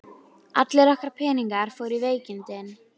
Hún snöggþagnar, ókyrrist í sætinu, augun skyndilega hvarflandi.